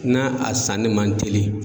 Na a sanni man teli.